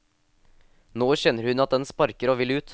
Nå kjenner hun at den sparker og vil ut.